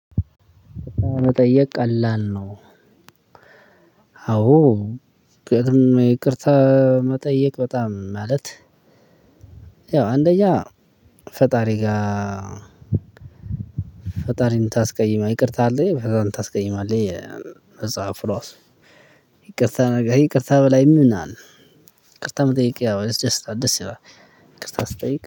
መጠየቅ ቀላል ነው። አዎ ይቅርታ መጠየቅ በጣም ማለት ያው አንደኛ ፈጣሪ ጋር። ፈጣሪን የምታስቀይም ይቅርታ አለኝ ፈጣሪን ታስቀይማለህ ይላል መፅሃፉ ራሱ። ይቅርታ ከይቅርታ በላይ ምን አለ? ይቅርታ መጠየቅ ያው ያስደስታል ያው ደስ ይላል ይቅርታ ስትጠይቅ